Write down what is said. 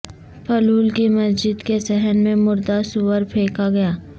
پلول کی مسجد کے صحن میں مردہ سور پھینکا گیا